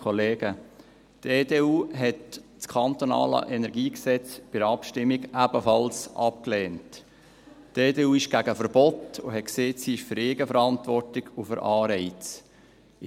Die EDU ist gegen Verbote und hat gesagt, dass sie für Eigenverantwortung und für Anreize ist.